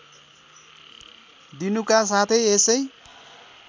दिनुका साथै यसै